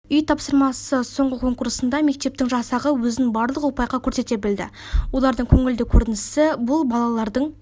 үй тапсырмасы соңғы конкурсында мектептің жасағы өзін барлық ұпайға көрсете білді олардың көңілді көрінісі бұл балалардың